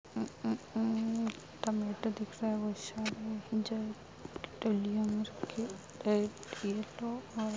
उ उ उम्म टमाटर दिख रहा है बहोत सारा जल की दलियो में रखे-- ]